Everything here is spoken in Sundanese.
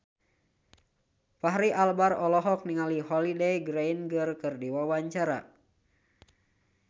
Fachri Albar olohok ningali Holliday Grainger keur diwawancara